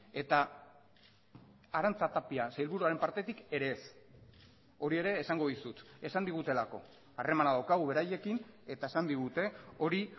eta arantxa tapia sailburuaren partetik ere ez hori ere esango dizut esan digutelako harremana daukagu beraiekin eta esan digute hori